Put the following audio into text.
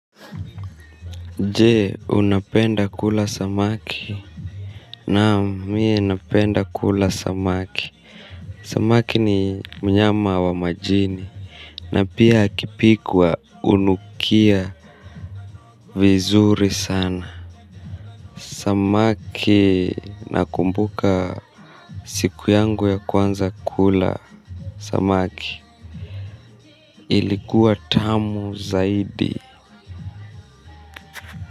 Jee unapenda kula samaki naam mie unapenda kula samaki samaki ni mnyama wa majini na pia akipikwa unukia vizuri sana samaki nakumbuka siku yangu ya kwanza kula samaki ilikuwa tamu zaidi.